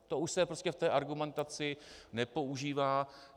To už se v té argumentaci nepoužívá.